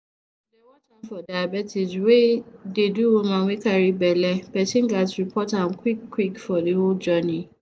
to dey watch out for diabetes wey dey do woman wey carry belle person ghats report am quick quick for de whole journey